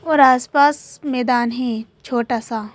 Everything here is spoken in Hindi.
और आसपास मैदान है छोटा सा।